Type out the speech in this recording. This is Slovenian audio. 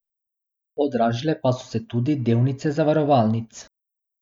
Podražile pa so se tudi delnice zavarovalnic.